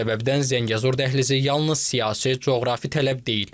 Bu səbəbdən Zəngəzur dəhlizi yalnız siyasi, coğrafi tələb deyil.